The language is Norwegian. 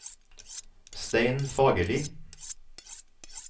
Stein Fagerli